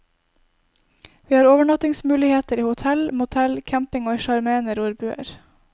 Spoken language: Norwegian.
Vi har overnattingsmuligheter i hotell, motell, camping og i sjarmerende rorbuer.